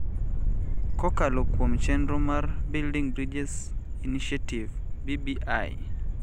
kokalo kuom chenro mar Building Bridges Initiative (BBI).